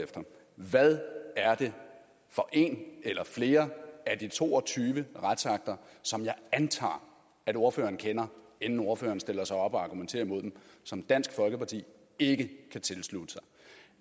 efter hvad er det for en eller flere af de to og tyve retsakter som jeg antager at ordføreren kender inden ordføreren stiller sig op og argumenterer imod dem som dansk folkeparti ikke kan tilslutte sig